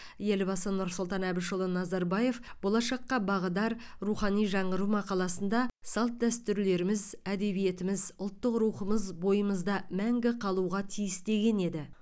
елбасы нұрсұлтан әбішұлы назарбаев болашаққа бағдар рухани жаңғыру мақаласында салт дәстүрлеріміз әдебиетіміз ұлттық рухымыз бойымызда мәңгі қалуға тиіс деген еді